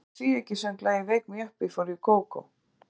Hvaða tvíeyki söng lagið Wake me up before you go go?